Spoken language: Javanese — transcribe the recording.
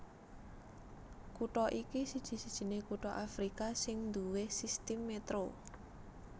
Kutha iki siji sijiné kutha Afrika sing nduwé sistim metro